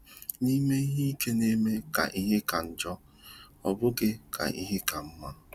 Ime ihe ike na - eme ka ihe ka njọ, ọ bụghị ka ihe ka mma. ”